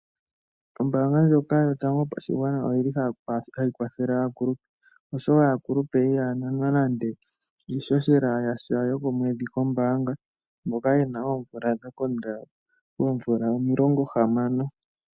Ombaanga ndjoka Yotango Yopashigwana oyi li hayi kwathele aakulupe, oshoka aakulupe ihaya nanwa nande iihohela yasha yokomwedhi kombaanga mboka ye na oomvula dha konda poomvula omilongohamano.